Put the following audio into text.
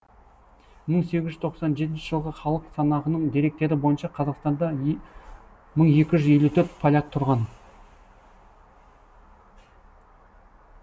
мың сегіз жүз қырық жетінші жылғы халық санағының деректері бойынша қазақстанда мың екі жүз елу төрт поляк тұрған